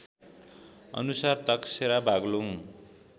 अनुसार तकसेरा बागलुङ